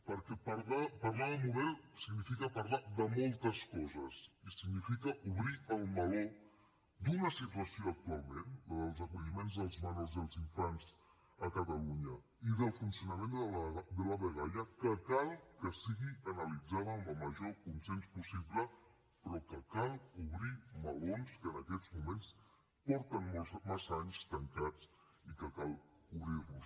perquè parlar de model significa parlar de moltes coses i significa obrir el meló d’una situació actualment la dels acolliments dels menors i els infants a catalunya i del funcionament de la dgaia que cal que sigui analitzada amb el major consens possible però que cal obrir melons que en aquests moments porten massa anys tancats i cal obrir los